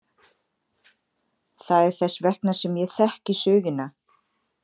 Það er þess vegna sem ég þekki söguna.